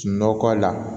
Nɔkɔ la